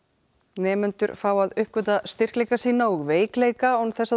nemendur fá að uppgötva styrkleika sína og veikleika án þess að